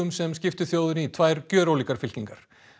sem skiptu þjóðinni í tvær gjörólíkar fylkingar